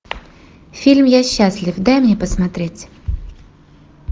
фильм я счастлив дай мне посмотреть